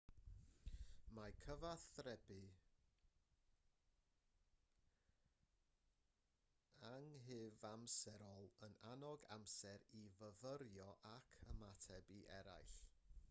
mae cyfathrebu anghyfamserol yn annog amser i fyfyrio ac ymateb i eraill